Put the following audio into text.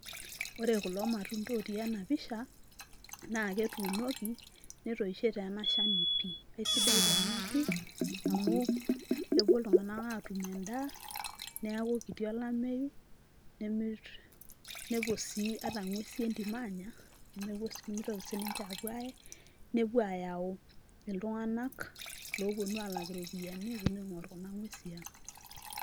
ore kulo matunda otii ena pisha naa ketuunoki netoishe tee ena shani eisidai taa ena pii amu kepuo iltung'anak atum endaa niaku kiti olameyu nepuo sii ata ing'uesi entim aanya nemepuo, nemitoki sininche apuo aaye nepuo ayau iltung'anak loponu alak iropiyiani eponu aing'orr kuna nguesi ang.